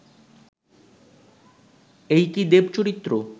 এই কি দেব-চরিত্র